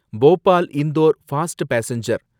Bhopal Indore fast passenger